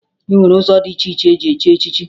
E nwere ụzọ dị iche iche esi echi echichi